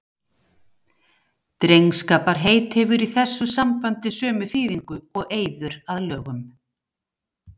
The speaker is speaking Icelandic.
Drengskaparheit hefur í þessu sambandi sömu þýðingu og eiður að lögum.